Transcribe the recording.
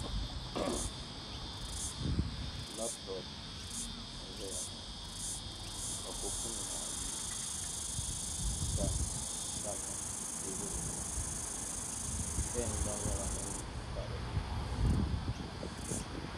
"Laptop" n-zaya ŋɔ ka kopunima ayi tamya teebuli zuɣu "pen" gba nyɛla din pa dinni.